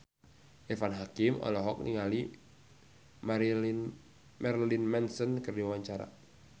Irfan Hakim olohok ningali Marilyn Manson keur diwawancara